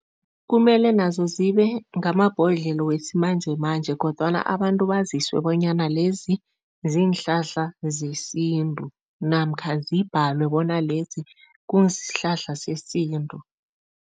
Kumele nazo zibe ngamabhodlelo wesimanjemanje kodwana abantu baziswe bonyana lezi, ziinhlahla zesintu namkha zibhalwe bona lesi kusihlahla sesintu.